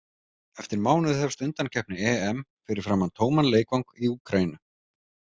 Eftir mánuð hefst undankeppni EM fyrir framan tóman leikvang í Úkraínu.